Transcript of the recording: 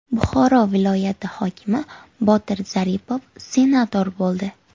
Buxoro viloyati hokimi Botir Zaripov senator bo‘ldi.